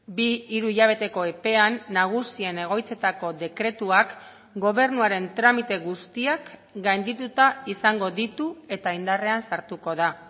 bi hiru hilabeteko epean nagusien egoitzetako dekretuak gobernuaren tramite guztiak gaindituta izango ditu eta indarrean sartuko da